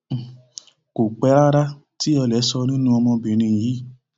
um kò pẹ rárá tí olè sọ nínú ọmọbìnrin yìí